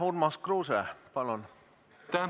Urmas Kruuse, palun!